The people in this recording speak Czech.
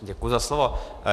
Děkuji za slovo.